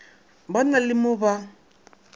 ba na le mo ba